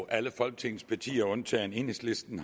alle folketingets partier undtagen enhedslisten